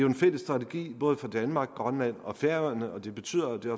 en fælles strategi både for danmark grønland og færøerne og det betyder det